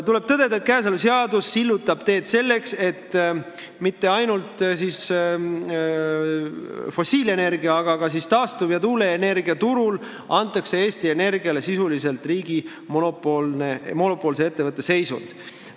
Tuleb tõdeda, et kõneks olev tulevane seadus sillutab teed selleks, et mitte ainult fossiilenergia-, vaid ka taastuv- ja tuuleenergiaturul antakse Eesti Energiale sisuliselt riigi monopoolse ettevõtte seisund.